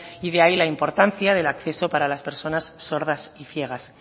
y de ahí la importancia del acceso para las personas sordas y ciegas